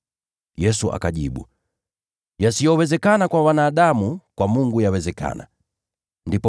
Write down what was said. Yesu akajibu, “Yasiyowezekana kwa wanadamu yanawezekana kwa Mungu.”